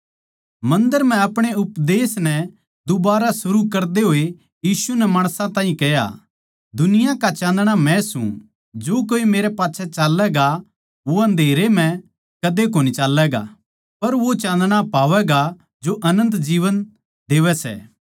मन्दर म्ह अपणे उपदेश नै दुबारै शुरू करते होए यीशु नै माणसां तै कह्या दुनिया का चाँदणा मै सूं जो कोए मेरै मेरे पाच्छै चाल्लैगा वो अन्धेरै म्ह कदे कोनी चाल्लैगा पर वो चाँदणा पावैगा जो अनन्त जीवन देवै सै